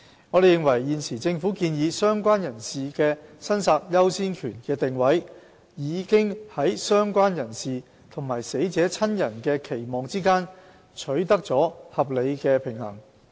我們認為，現時政府建議"相關人士"的申索優先權的定位，已在"相關人士"和死者親人的期望之間取得了合理的平衡。